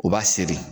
U b'a seri